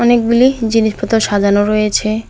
অনেকগুলি জিনিসপত্র সাজানো রয়েছে।